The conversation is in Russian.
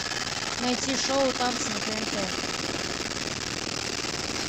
найти шоу танцы на тнт